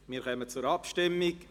Wir kommen zur Abstimmung.